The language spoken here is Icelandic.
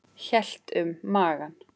Hélt um magann.